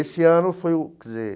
Esse ano foi o, quer dizer,